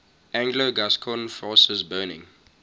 anglo gascon forces burning